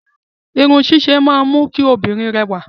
Irun ṣíṣe máa ń mú kí obìnrin rẹwà.